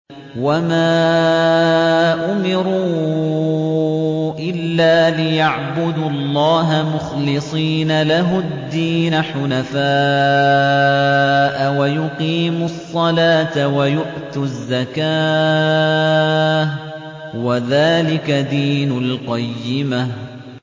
وَمَا أُمِرُوا إِلَّا لِيَعْبُدُوا اللَّهَ مُخْلِصِينَ لَهُ الدِّينَ حُنَفَاءَ وَيُقِيمُوا الصَّلَاةَ وَيُؤْتُوا الزَّكَاةَ ۚ وَذَٰلِكَ دِينُ الْقَيِّمَةِ